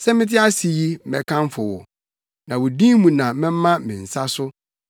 Sɛ mete ase yi, mɛkamfo wo, na wo din mu na mɛma me nsa so.